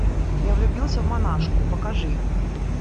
я влюбился в монашку покажи